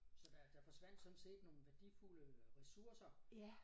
Så der der forsvandt sådan set nogle værdifulde ressourcer